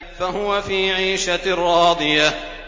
فَهُوَ فِي عِيشَةٍ رَّاضِيَةٍ